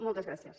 moltes gràcies